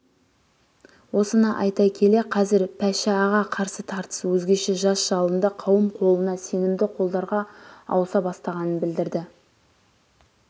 осыны айта келе қазір пашіаға қарсы тартыс өзгеше жас жалынды қауым қолына сенімді қолдар-ға ауыса бастағанын білдірді